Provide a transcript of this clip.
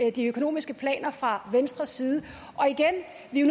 i de økonomiske planer fra venstres side og igen